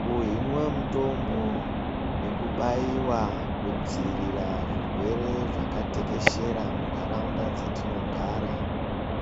Kuhinwa mutombo yekubaiwa kudziirira zvirwere zvakatekeshera muntaraunda dzatinogara